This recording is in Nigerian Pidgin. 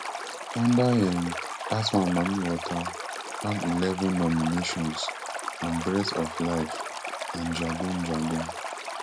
under um dat one mami wata gbab eleven nominations and breath of life and jagun jagun